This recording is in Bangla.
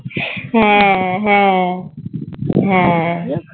হ্যাঁ হ্যাঁ হ্যাঁ